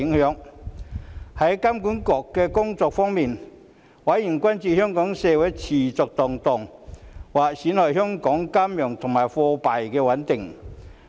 在香港金融管理局工作方面，委員關注香港社會持續動盪，或會損害香港的金融及貨幣穩定。